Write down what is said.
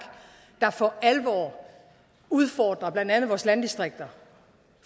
for alvor udfordrer blandt andet vores landdistrikter